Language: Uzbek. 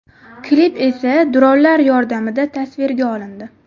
Klip esa dronlar yordamida tasvirga olindi.